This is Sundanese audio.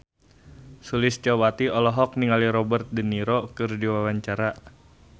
Sulistyowati olohok ningali Robert de Niro keur diwawancara